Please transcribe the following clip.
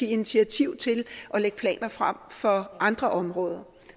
initiativ til at lægge planer frem for andre områder